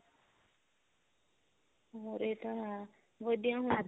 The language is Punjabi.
ਹੋਰ ਇਹ ਤਾਂ ਹੈ ਵਧੀਆ